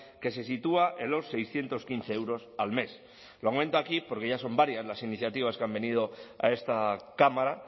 que se sitúa en los seiscientos quince euros al mes lo comento aquí porque ya son varias las iniciativas que han venido a esta cámara